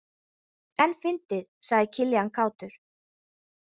En fyndið, sagði Kiljan kátur.